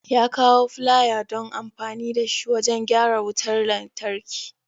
Ya kawo flier don amfani da shi wajen gyara wutar lantarki.